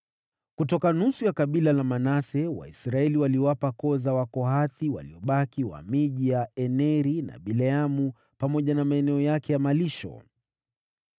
Kutoka nusu ya kabila la Manase, Waisraeli waliwapa koo za Wakohathi waliobaki miji ya Aneri na Bileamu pamoja na maeneo yake ya malisho.